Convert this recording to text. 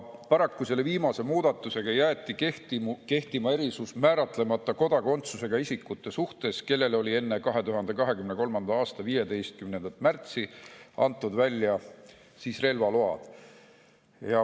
Paraku jäeti viimase muudatusega kehtima erisus määratlemata kodakondsusega isikutele, kellele on välja antud relvaluba enne 2023. aasta 15. märtsi.